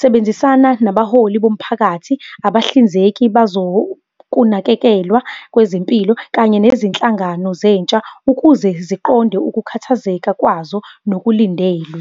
Sebenzisana nabaholi bomphakathi, abahlinzeki bazokunakekelwa kwezempilo, kanye nezinhlangano zentsha ukuze ziqonde ukukhathazeka kwazo nokulindelwe.